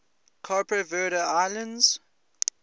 cape verde islands